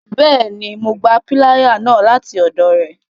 Bẹẹni, Mo gbà piláyà náà lati ọdọ rẹ